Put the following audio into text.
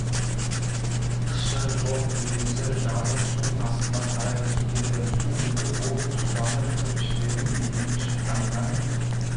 қышы жоқ төбесі жазық су астына қарай кетеді су өтіп ол тұзданып кірпіштердің бетіне шыққаннан